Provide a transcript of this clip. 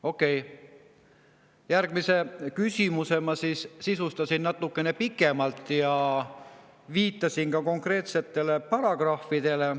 Okei, järgmise küsimuse ma siis natukene pikemalt ja viitasin ka konkreetsetele paragrahvidele.